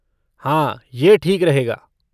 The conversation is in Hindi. हाँ, यह ठीक रहेगा।